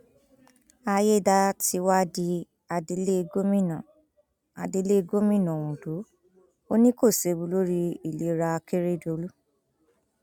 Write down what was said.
àyédátiwa di adelégmina adelégmina ondo ò ní kó séwu lórí ìlera akérèdọlù